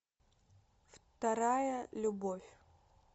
вторая любовь